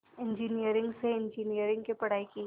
engineering से engineering की पढ़ाई की